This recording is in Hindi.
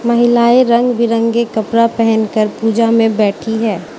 महिलाएं रंग बिरंगे कपड़ा पहन कर पूजा में बैठी है।